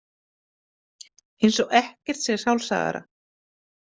Eins og ekkert sé sjálfsagðara.